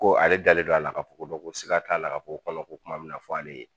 Ko ale dalen don a la k'a fɔ ko siga t'a la k'a fɔ ko kɔnɔko kuma min na fɔ ale ye